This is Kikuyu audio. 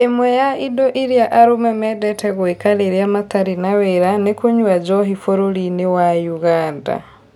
Ĩmwe ya indo iria arũme mendete gũĩka rĩrĩa matarĩ na wĩra nĩ kũnyua njohi bũrũri-inĩ wa Ũganda